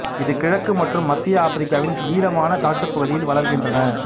இது கிழக்கு மற்றும் மத்திய ஆப்பிரிக்காவின் ஈரமான காட்டுப் பகுதியில் வளர்கின்றன